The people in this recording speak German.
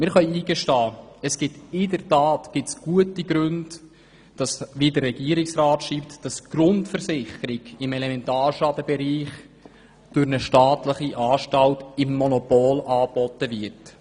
Wir können zugestehen, dass es tatsächlich gute Gründe gibt, dass eine staatliche Anstalt die Grundversicherung im Elementarschadenbereich im Monopol anbietet.